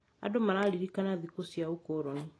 Andũ mararirikana thikũ cia ũkoroni.